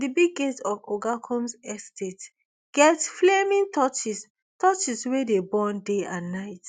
di big gates of oga combs estate get flaming torches torches wey dey burn day and night